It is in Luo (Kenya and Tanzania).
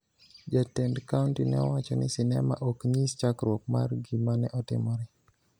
Jatend kaonti ne owacho ni sinema ok nyis chakruok mar gima ne otimore